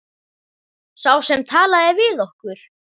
Sá sem talaði við okkur.